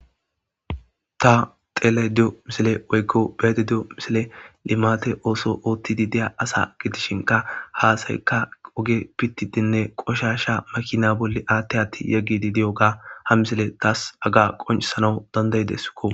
Ta tele diyo misile woykko beedediyo misile limate ooso oottidi deya asa gitishinka haasaykka oge pittidinne qoshasha makina bolle aatte aatti yeggidi di'oga ha misile taas aga qoncisanawu dandayideskko